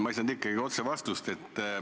Ma ei saanud ikkagi otsest vastust.